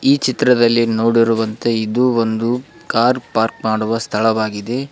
ಈ ಚಿತ್ರದಲ್ಲಿ ನೋಡಿರುವಂತೆ ಇದು ಒಂದು ಕಾರ್ ಪಾರ್ಕ್ ಮಾಡುವ ಸ್ಥಳವಾಗಿದೆ.